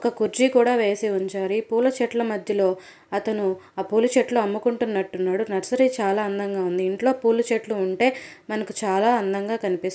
ఒక కుర్జీ కూడా వేసి ఉంచారు ఈ పూల చెట్ల మధ్యలో అతను ఆ పూల చెట్లు అమ్ముకుంటునట్టున్నాడు నర్సరీ చాలా అందంగా ఉంది ఇంట్లో పూల చెట్లు ఉంటే మనకి చాలా అందంగా కనిపిస్తుంది.